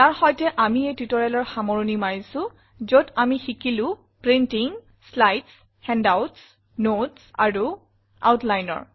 ইয়াৰ সৈতে আমি এই tutorialৰ সামৰণি মাৰিছো যত আমি শিকিলো প্ৰিণ্টিং শ্লাইডছ হেণ্ডআউটছ নোটছ আৰু Outline